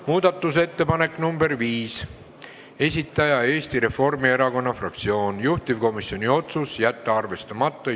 Muudatusettepaneku nr 5 esitaja on Eesti Reformierakonna fraktsioon, juhtivkomisjoni otsus: jätta arvestamata.